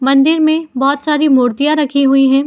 मंदिर में बहुत सारि मूर्तियाँ रखी हुई हैं।